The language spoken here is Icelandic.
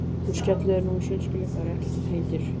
Þú skellir þér nú í sundskýlu, það er ekkert sem heitir!